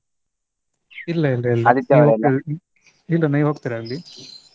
ಇಲ್ಲ . ಇಲ್ಲ ನೀವ್ ಹೋಗ್ತಿರ ಅಲ್ಲಿ?